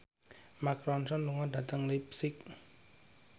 Mark Ronson lunga dhateng leipzig